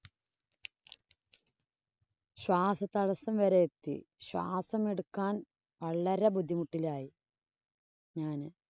ശ്വാസതടസ്സം വരെ എത്തി. ശ്വാസം എടുക്കാന്‍ വളരെ ബുദ്ധിമുട്ടിലായി ഞാന്.